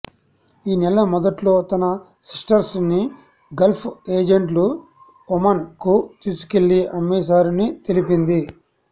ఈ నెల మొదట్లో తన సిస్టర్స్ ని గల్ఫ్ ఏజెంట్లు ఒమన్ కు తీసుకెళ్లి అమ్మేశారని తెలిపింది